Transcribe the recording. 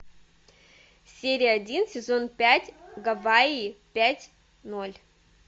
серия один сезон пять гавайи пять ноль